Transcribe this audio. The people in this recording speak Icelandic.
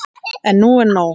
En nú er nóg!